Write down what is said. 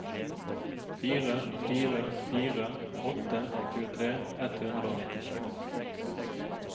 fire fire fire åtte tjuetre ett hundre og nittiseks